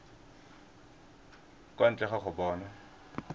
kwa ntle ga go bona